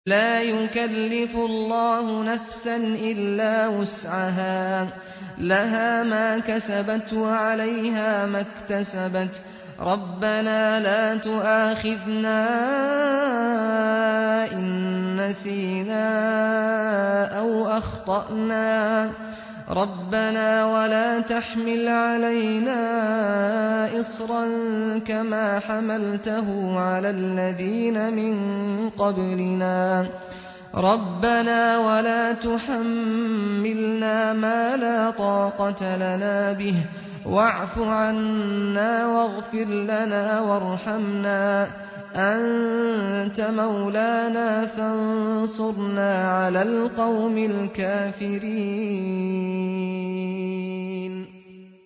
لَا يُكَلِّفُ اللَّهُ نَفْسًا إِلَّا وُسْعَهَا ۚ لَهَا مَا كَسَبَتْ وَعَلَيْهَا مَا اكْتَسَبَتْ ۗ رَبَّنَا لَا تُؤَاخِذْنَا إِن نَّسِينَا أَوْ أَخْطَأْنَا ۚ رَبَّنَا وَلَا تَحْمِلْ عَلَيْنَا إِصْرًا كَمَا حَمَلْتَهُ عَلَى الَّذِينَ مِن قَبْلِنَا ۚ رَبَّنَا وَلَا تُحَمِّلْنَا مَا لَا طَاقَةَ لَنَا بِهِ ۖ وَاعْفُ عَنَّا وَاغْفِرْ لَنَا وَارْحَمْنَا ۚ أَنتَ مَوْلَانَا فَانصُرْنَا عَلَى الْقَوْمِ الْكَافِرِينَ